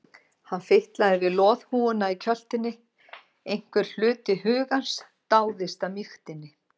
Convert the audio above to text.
Hann fitlaði við loðhúfuna í kjöltunni, einhver hluti hugans dáðist að mýktinni.